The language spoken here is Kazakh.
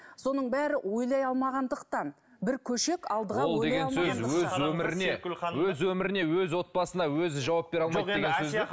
соның бәрі ойлай алмағандықтан бір көшек алдыға өз өміріне өз өміріне өз отбасына өзі жауап бере алмайды деген сөз бе